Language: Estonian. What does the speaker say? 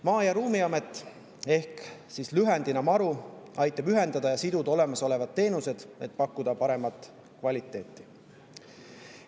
Maa‑ ja Ruumiamet, lühendatult MaRu, aitab ühendada ja siduda olemasolevaid teenuseid, et pakkuda paremat kvaliteeti.